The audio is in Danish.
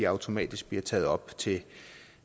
automatisk bliver taget op til